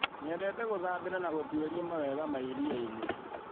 Nyendete gũthambĩra na gũtuĩria mawega ma iria-inĩ